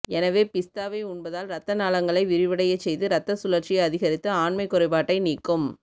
எனவே பிஸ்தாவை உண்பதால் ரத்த நாளங்களை விரிவடையச் செய்து இரத்த சுழற்சியை அதிகரித்து ஆண்மை குறைபாட்டை நீக்கும்